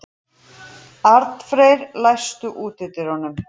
Arnfreyr, læstu útidyrunum.